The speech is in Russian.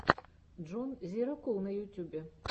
джон зирокул на ютюбе